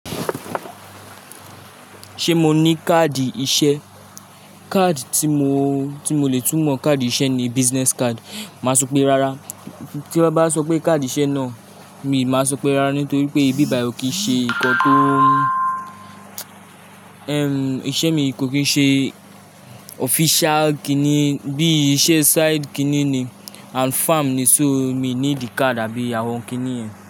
Ṣé mo ní káàdì iṣẹ́? Kaadi tí mo, tí mo lè tú mọ káàdì iṣẹ́ ni business card. Màá sọ pé rárá. Tí wón bá sọ pé káàdì iṣẹ́ náà, mi máa sọ pé rárá nítorí pé ibí bàyi ó kì í ṣe nǹkan tó iṣẹ́ mi kò kí ń ṣe official kíni, bí i iṣẹ́ side kíni ni and farm ni so mi níídi card àbí àwọn kíni yẹn.